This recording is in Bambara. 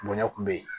Bonɲa kun be yen